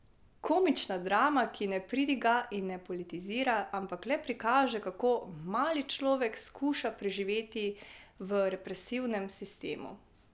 Komična drama, ki ne pridiga in ne politizira, ampak le prikaže, kako mali človek skuša preživeti v represivnem sistemu.